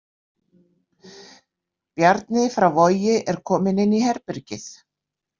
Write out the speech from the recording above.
Bjarni frá Vogi er kominn inn í herbergið.